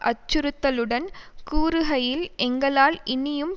அச்சுறுத்தலுடன் கூறுகையில் எங்களால் இனியும்